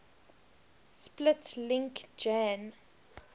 split link jan